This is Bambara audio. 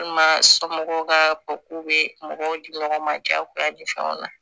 Walima somɔgɔw ka k'u bɛ mɔgɔw di mɔgɔw ma jagoya di fɛnw na